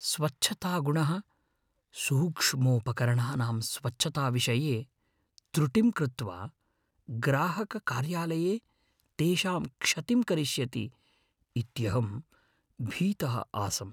स्वच्छतागणः सूक्ष्मोपकरणानां स्वच्छताविषये त्रुटिं कृत्वा ग्राहककार्यालये तेषां क्षतिं करिष्यति इत्यहं भीतः आसम्।